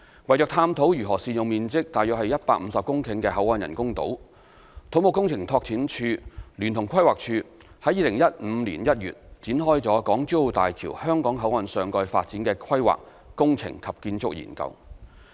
為探討如何善用面積約150公頃的口岸人工島，土木工程拓展署聯同規劃署於2015年1月展開"港珠澳大橋香港口岸上蓋發展的規劃、工程及建築研究"。